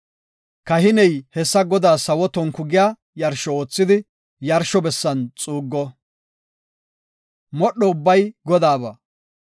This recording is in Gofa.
Kahiney hessa Godaas sawo tonku giya yarsho oothidi yarsho bessan xuuggo. Modho ubbay Godaaba.